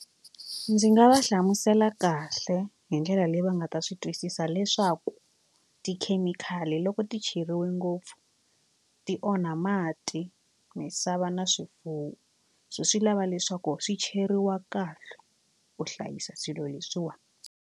Ndzi nga va hlamusela kahle hi ndlela leyi va nga ta swi twisisa leswaku tikhemikhali loko ti cheriwe ngopfu ti onha mati misava na swifuwo so swi lava leswaku swi cheriwa kahle ku hlayisa swilo leswiwani.